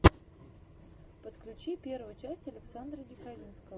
подключи первую часть александра диковинного